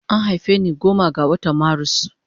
An haife ni goma ga watan marus